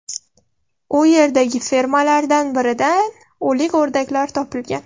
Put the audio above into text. U yerdagi fermalardan biridan o‘lik o‘rdaklar topilgan.